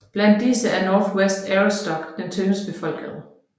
Blandt disse er Northwest Aroostook det tyndest befolkede